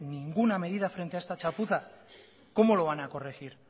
ninguna medida frente a esta chapuza cómo lo van a corregir